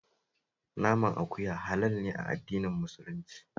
Naman halal ne a addinin Muslunci